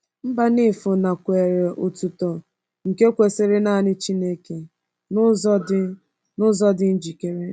Mbanefo nakweere otuto nke kwesịrị nanị Chineke n’ụzọ dị n’ụzọ dị njikere.